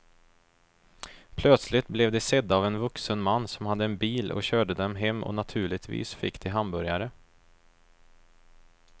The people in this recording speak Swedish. Plötsligt blev de sedda av en vuxen man som hade en bil och körde dem hem och naturligtvis fick de hamburgare.